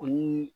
O ni